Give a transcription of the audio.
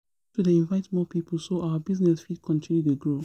We need to dey invite more people so our business fit continue dey grow